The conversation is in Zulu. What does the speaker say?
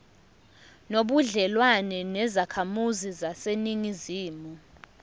nobudlelwane nezakhamizi zaseningizimu